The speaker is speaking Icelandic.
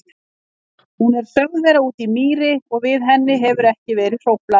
Hún er sögð vera úti í mýri og við henni hefur ekki verið hróflað.